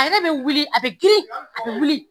A yɛrɛ bɛ wili ,a bɛ girin, a bɛ wili.